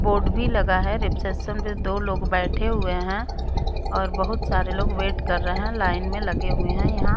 board भी लगा है रिसेप्शन पर दो लोग बैठे हुए हैं और बहुत सारे लोग वेट कर रहे हैं लाइन में लगे हुए हैं यहां--